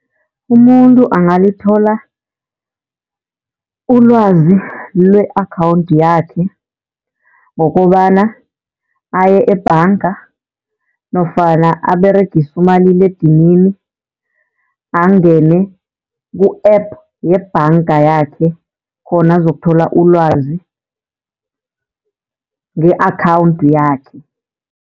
Umuntu angalithola ulwazi lwe-akhawunthi yakhe ngokobana aye ebhanga, nofana aberegise umaliledinini angene ku-app yebhanga yakhe khona azakuthola ulwazi nge-akhawunthi yakhe.